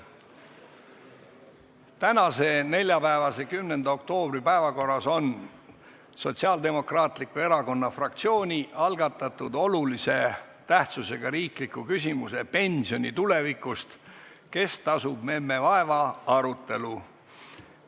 Tänases neljapäeva, 10. oktoobri päevakorras on Sotsiaaldemokraatliku Erakonna fraktsiooni algatatud olulise tähtsusega riikliku küsimuse "Pensioni tulevikust – kes tasub memme vaeva?" arutelu.